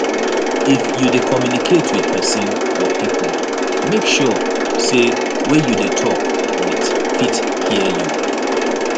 if you de communicate with persin or pipo make sure say wey you de talk with fit hear you